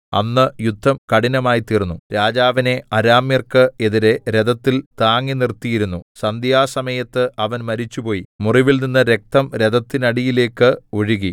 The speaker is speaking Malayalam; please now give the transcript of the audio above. അന്ന് യുദ്ധം കഠിനമായി തീർന്നു രാജാവിനെ അരാമ്യർക്ക് എതിരെ രഥത്തിൽ താങ്ങിനിർത്തിയിരുന്നു സന്ധ്യാസമയത്ത് അവൻ മരിച്ചുപോയി മുറിവിൽനിന്ന് രക്തം രഥത്തിനടിയിലേക്ക് ഒഴുകി